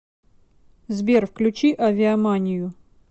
сбер включи авиаманию